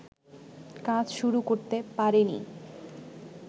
কাজ শুরু করতে পারেনি